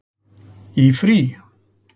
Í frí?